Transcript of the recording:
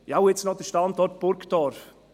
Ja und jetzt noch der Standort Burgdorf.